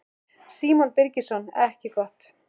Símon Birgisson: Ekki gott?